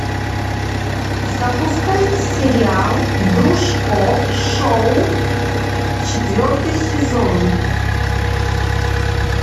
запускай сериал дружко шоу четвертый сезон